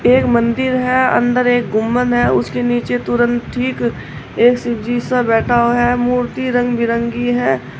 एक मंदिर है अंदर एक गुंमद है। उसके नीचे तुरंत ठीक एक शिवजी सा बैठा हुआ है। मूर्ति रंग बिरंगी है।